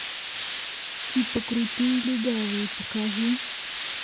типа крутые легавые покажи